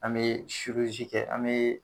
An me kɛ an me